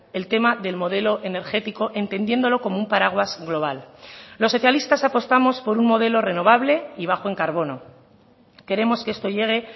el tema del modelo energético entendiéndolo como un paraguas global los socialistas apostamos por un modelo renovable y bajo en carbono queremos que esto llegue